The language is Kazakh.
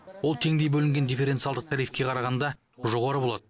ол теңдей бөлінген дифференциалдық тарифке қарағанда жоғары болады